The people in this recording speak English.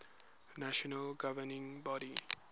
national governing body